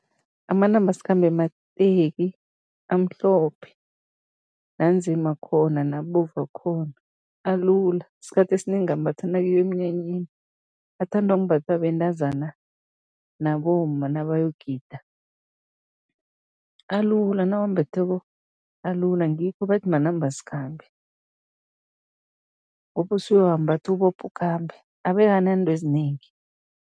Amanambasikhambe mateki amhlophe, nanzima akhona, nabovu akhona, alula. Isikhathi esinengi ambathwa nakuyiwa emnyanyeni, athanda ukumbathwa bentazana nabomma naboyogida. Alula, nawuwambetheko alula, ngikho bathi manambasikhambe ngoba usuyawambatha, ubophe ukhambe, abe akananto ezinengi.